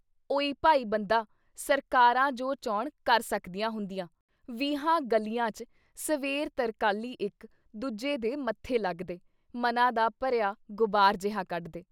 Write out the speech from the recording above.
ਉਇ ਭਾਈ ਬੰਦਾ ! ਸਰਕਾਰਾਂ ਜੋ ਚਾਹੁਣ ਕਰ ਸਕਦੀਆਂ ਹੁੰਦੀਆਂ। ਵੀਹਾਂ ਗਲੀਆਂ 'ਚ ਸਵੇਰ ਤਰਕਾਲੀਂ ਇੱਕ ਦੂਜੇ ਦੇ ਮੱਥੇ ਲੱਗਦੇ, ਮਨਾਂ ਦਾ ਭਰਿਆ ਗੁਬਾਰ ਜਿਹਾ ਕੱਢਦੇ।